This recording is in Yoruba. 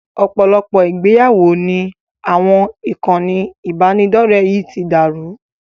Ọ̀pọ̀lọpọ̀ ìgbéyàwó ni àwọn ìkànnì ìbánidọ̀rẹ́ yìí ti dàrú